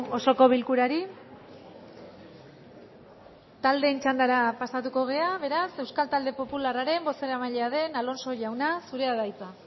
osoko bilkurari taldeen txandara pasatuko gara beraz euskal talde popularraren bozeramailea den alonso jauna zurea da hitza